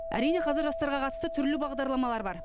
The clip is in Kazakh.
әрине қазір жастарға қатысты түрлі бағдарламалар бар